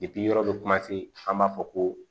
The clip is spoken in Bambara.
yɔrɔ bɛ kuma se an b'a fɔ ko